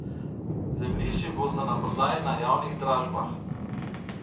Zemljišči bosta naprodaj na javnih dražbah.